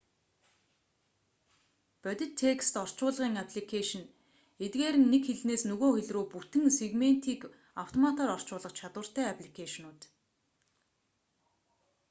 бодит текст орчуулгын апликэйшн эдгээр нь нэг хэлнээс нөгөө хэл рүү бүтэн сегментийг автоматаар орчуулах чадвартай апликэйшнууд